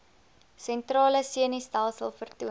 sentrale senustelsel vertoon